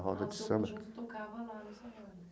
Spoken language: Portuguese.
Roda de Samba. O conjunto tocava lá no salão?